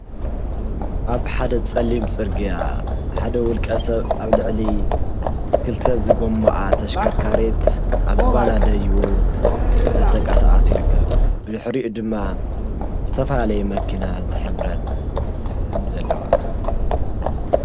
ኣብ ሓደ ፀሊም ፅርግያ ሓደ ዉልቀ ሰብ ኣብ ልዕሊ ክልተ ዝጎምኣ ተሽከርካሪት ኣብ ዝባና ደይቡ እናተንቀሳቀሰ ይርከብ፣ ብድሕሪኡ ድማ ዝተፈላለዩ መኪና ዝሕብረን ከም ዘለዋ።